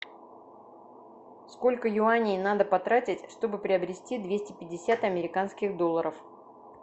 сколько юаней надо потратить чтобы приобрести двести пятьдесят американских долларов